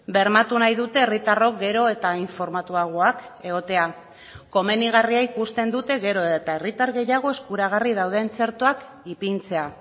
bermatu nahi dute herritarrok gero eta informatuagoak egotea komenigarria ikusten dute gero eta herritar gehiago eskuragarri dauden txertoak ipintzea